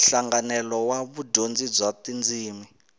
nhlanganelo wa vudyondzi bya tindzimi